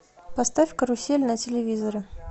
поставь карусель на телевизоре